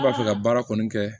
Ne b'a fɛ ka baara kɔni kɛ